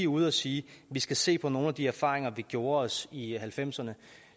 ude at sige at vi skal se på nogle af de erfaringer vi gjorde os i halvfemserne